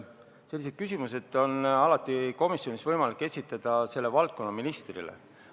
Selliseid küsimusi on komisjonis võimalik esitada valdkonnaministrile.